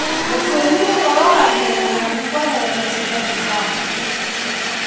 Mũgúĩmi ũrĩa ũroragire mũrũthi kwehererio cira Zimbabwe.